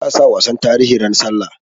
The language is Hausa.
Za a sa wasan tarihi ran sallah